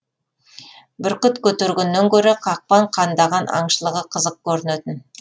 бүркіт көтергеннен гөрі қақпан қандаған аңшылығы қызық көрінетін